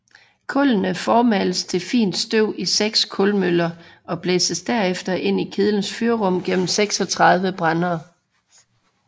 Kullene formales til fint støv i seks kulmøller og blæses derefter ind i kedlens fyrrum gennem 36 brændere